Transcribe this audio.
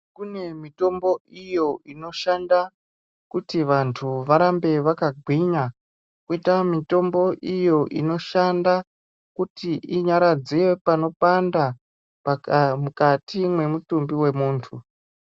Kune mitombo iyo inoshanda kuti vantu varambe vakagwinya. Koita mitombo iyo inoshanda kuti inyaradze panopanda mukati mwemutumbi wemuntu.